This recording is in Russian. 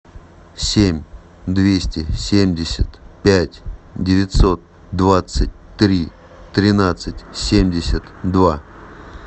семь двести семьдесят пять девятьсот двадцать три тринадцать семьдесят два